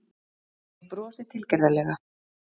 Ég brosi tilgerðarlega.